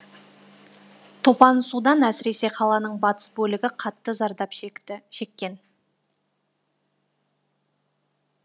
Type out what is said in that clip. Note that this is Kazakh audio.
топан судан әсіресе қаланың батыс бөлігі қатты зардап шеккен